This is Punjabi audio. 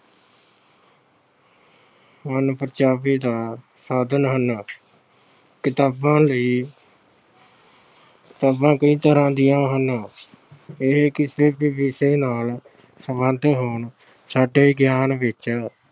ਮਨ-ਪਰਚਾਵੇਂ ਦਾ ਸਾਧਨ ਹਨ। ਕਿਤਾਬਾਂ ਲਈ ਅਹ ਕਿਤਾਬਾਂ ਕਈ ਤਰ੍ਹਾਂ ਦੀਆਂ ਹਨ। ਇਹ ਕਿਸੇ ਵੀ ਵਿਸ਼ੇ ਨਾਲ ਸਬੰਧਿਤ ਹੋਣ, ਸਾਡੇ ਗਿਆਨ ਵਿੱਚ